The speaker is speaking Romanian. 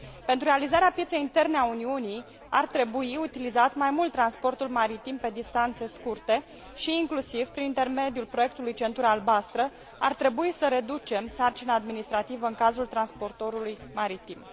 Pentru realizarea pieței interne a Uniunii ar trebui utilizat mai mult transportul maritim pe distanțe scurte și, inclusiv prin intermediul proiectului Centura albastră, ar trebui să reducem sarcina administrativă în cazul transportorului maritim.